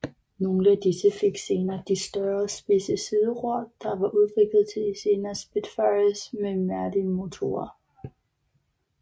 Nogle af disse fik senere de større og spidse sideror der var udviklet til de senere Spitfires med Merlin motorer